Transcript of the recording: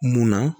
Munna